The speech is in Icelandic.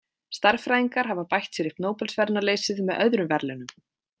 Stærðfræðingar hafa bætt sér upp Nóbelsverðlaunaleysið með öðrum verðlaunum.